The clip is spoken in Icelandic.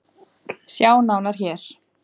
Sjá nánar hér.